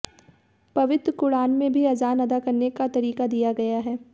पवित्र कुरान में भी अजान अदा करने का तरीका दिया गया है